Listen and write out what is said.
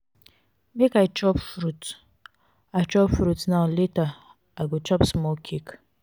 make i chop fruit i chop fruit now later i go chop small cake.